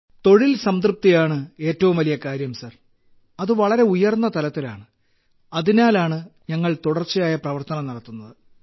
തൊഴിൽ സംതൃപ്തി ആണ് ഏറ്റവും വലിയ കാര്യം സർ അത് വളരെ ഉയർന്ന തലത്തിലാണ് അതിനാലാണ് ഞങ്ങൾ തുടർച്ചയായ പ്രവർത്തനം നടത്തുന്നത്